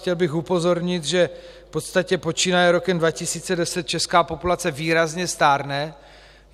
Chtěl bych upozornit, že v podstatě počínaje rokem 2010 česká populace výrazně stárne.